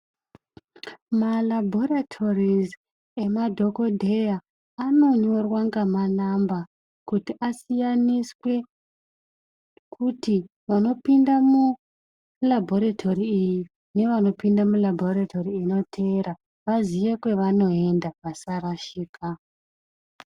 Maraboritorizi emadhokodheya anonyora ngomanamba kuti asiyaniswe kuti vanopinda muraboritori iyi ngevanopinda muraboratori inotevera vazive kwavanoenda vasarashika.